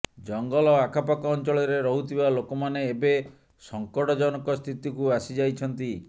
ଜଙ୍ଗଲ ଆଖପାଖ ଅଂଚଳରେ ରହୁଥିବା ଲୋକମାନେ ଏବେ ସଙ୍କଟଜନକ ସ୍ଥିତିକୁ ଆସିଯାଇଛନ୍ତି